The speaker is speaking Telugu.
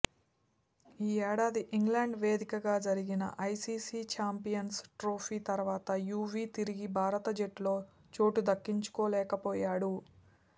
ఈ ఏడాది ఇంగ్లాండ్ వేదికగా జరిగిన ఐసీసీ ఛాంపియన్స్ ట్రోఫీ తర్వాత యువీ తిరిగి భారత జట్టులో చోటు దక్కించుకోలేకపోయాడు